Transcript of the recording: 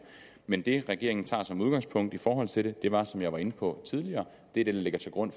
men det regeringen tager som udgangspunkt i forhold til det var som jeg var inde på tidligere det der ligger til grund